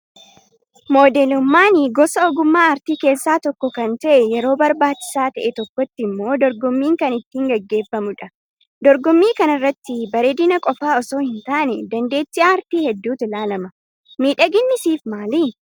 Modeelummaan gosa ogummaa aartii keessaa tokko kan ta'e, yeroo barbaachisaa ta'e tokkotti immoo dorgommiin kan ittiin gageeffamudha. Dorgommii kanarratti bareedina qofaa osoo hin taane, dandeettii aartii hedduutu ilaalama. Miidhaginni siif maali?